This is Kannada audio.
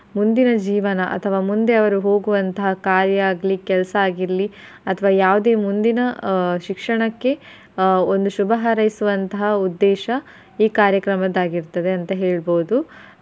ಮುಂದಿನ ಜೀವನ ಅಥವಾ ಮುಂದೆ ಅವ್ರು ಹೋಗುವಂತಹ ಕಾರ್ಯ ಆಗ್ಲಿ ಕೆಲ್ಸಾ ಆಗಿರ್ಲಿ ಅಥವಾ ಯಾವ್ದೆ ಮುಂದಿನ ಆಹ್ ಶಿಕ್ಷಣಕ್ಕೆ ಆಹ್ ಒಂದು ಶುಭ ಹಾರೈಸುವಂತಹ ಉದ್ದೇಶ ಈ ಕಾರ್ಯಕ್ರಮದ್ದಾಗಿರ್ತದೆ ಅಂತ ಹೇಳ್ಬಹುದು.